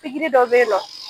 dɔ bɛ yen nɔ